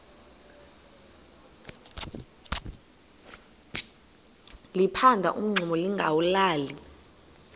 liphanda umngxuma lingawulali